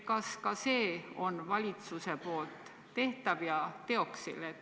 Kas see on valitsuse poolt ka tehtav ja teoksil?